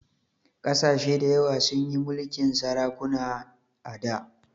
Ƙasashe dayawa sun yi mulkin sarakuna a da